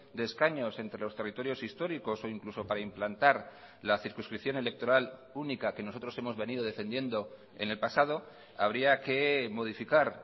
de escaños entre los territorios históricos o incluso para implantar la circunscripción electoral única que nosotros hemos venido defendiendo en el pasado habría que modificar